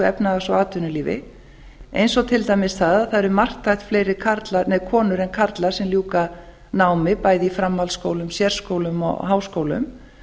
efnahags og atvinnulífi eins og til dæmis það að það eru marktækt fleiri konur en karlar sem ljúka námi bæði í framhaldsskólum sérskólum og háskólum